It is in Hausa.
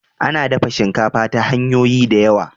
A na dafa shinkafa ta hanyoyi da yawa